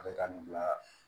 A bɛ taa nin bila